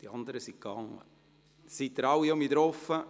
Werden nun alle Stimmen wieder angezeigt?